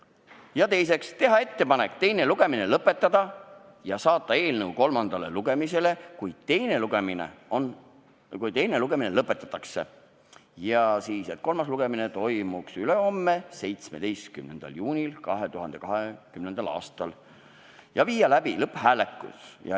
Ja teiseks otsustati teha ettepanek teine lugemine lõpetada ja saata eelnõu kolmandale lugemisele, juhul kui teine lugemine lõpetatakse, kusjuures kolmas lugemine toimuks ülehomme, 17. juunil 2020. aastal, ning viia läbi lõpphääletus.